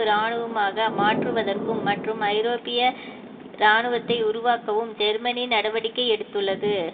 இராணுவமாக மாற்றுவதற்கும் மற்றும் ஐரோப்பிய இராணுவத்தை உருவாக்கவும் ஜெர்மனி நடவடிக்கை எடுத்துள்ளது